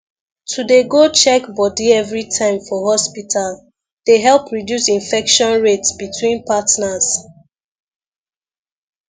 to dey go check body everytime for hospital dey help reduce infection rate between partners